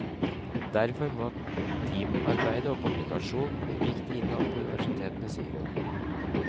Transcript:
Derfor må teamarbeid og kommunikasjon bli viktigere innad på universitetene, sier hun.